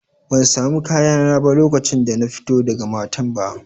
Ban sami kayana ba lokacin da na fito daga matan ba.